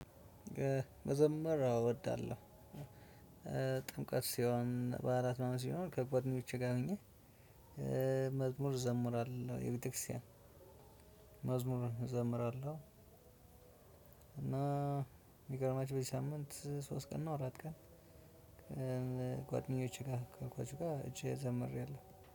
መዘመር አዎ እወዳለሁ። ጥምቀት ሲሆን በዓላት ምናምን ሲኖር ከጎደኞቼ ጋር ሁኘ መዝሙር እዘምራለሁ የቤተክርስቲያን መዝሙር እዘምራለሁ። እና የሚገርማችሁ በዚህ ሳምንት ሶስት ቀን ነው አራት ቀን። ጓደኞቼ ጋር ካልኳችሁ ጋር እቺ ዘምሬያለሁ።